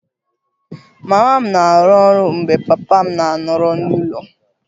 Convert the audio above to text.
Mama m na-arụ ọrụ mgbe papa m na-anọrọ n'ụlọ